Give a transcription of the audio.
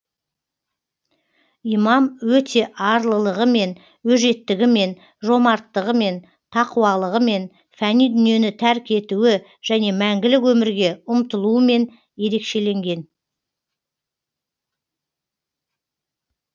имам өте арлылығымен өжеттігімен жомарттығымен тақуалығымен фәни дүниені тәрк етуі және мәңгілік өмірге ұмтылуымен ерекшеленген